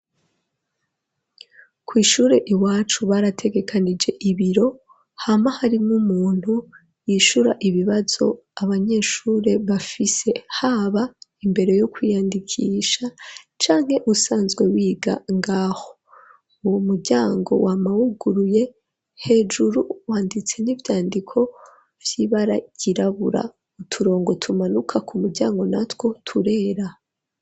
kw,ishure iwacu barategekanije ibiro hama harimwo umuntu yishura ibibazo abanyeshure bafise, haba imbere yo kwiyandikisha canke usanzwe wiga ngaho; umuryango wama huguruye hejuru wanditse n'ivyandiko vy'ibara ryirabura, uturongo tumanuka ku muryango natwo turera.